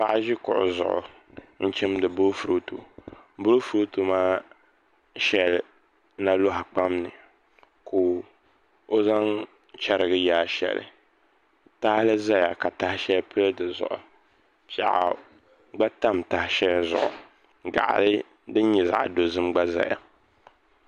Paɣa ʒi kuɣu zuɣu n chimdi boofurooto boofurooto maa shɛli na loɣa kpam ni ka o zaŋ chɛrigi yaa shɛli tahali ʒɛya ka tahali taha shɛli pili di zuɣu piɛɣu gba tam taha shɛli zuɣu gaɣali din nyɛ zaɣ dozim gba ʒɛya